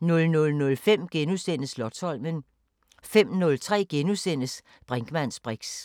* 00:05: Slotsholmen * 05:03: Brinkmanns briks *